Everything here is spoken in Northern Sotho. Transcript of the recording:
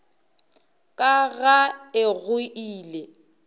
ka ga e go ile